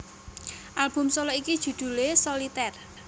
Album solo iki judhule Soliter